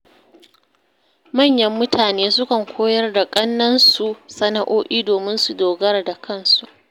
Manyan mutane sukan koyar da ƙannansu sana’o’i domin su dogara da kansu.